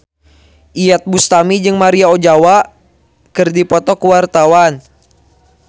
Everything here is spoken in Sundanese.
Iyeth Bustami jeung Maria Ozawa keur dipoto ku wartawan